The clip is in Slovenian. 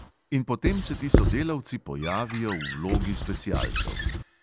In potem se ti sodelavci pojavijo v vlogi specialcev.